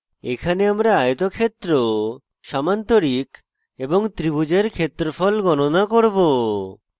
এখানে আমরা একটি আয়তক্ষেত্র সামান্তরিক এবং ত্রিভুজের ক্ষেত্রফল গণনা করব